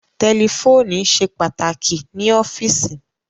Tẹlifóònù ṣe pàtàkì ní ọ́fíìsì